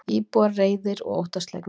Íbúar reiðir og óttaslegnir